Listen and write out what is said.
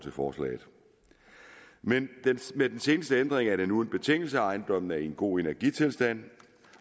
forslaget med med den seneste ændring er det nu en betingelse at ejendommen har en god energitilstand